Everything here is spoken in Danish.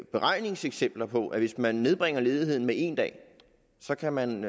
beregningseksempler på at hvis man nedbringer ledigheden med en dag så kan man